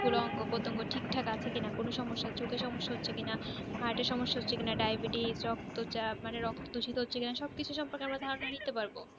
পুরো অঙ্গ প্রত্যঙ্গ ঠিক থাকে আছে কিনা কোনো সমস্যা চোখে সমস্যা হচ্ছে কিনা herat এ সমস্যা হচ্ছে কিনা diabetecs রক্তচাপ মানে রক্ত ঠিক থাকে হচ্ছে কিনা সব কিছু সম্পর্কে আমাদের ধারণা নিতে পারবো